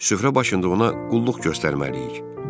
Süfrə başında ona qulluq göstərməliyik.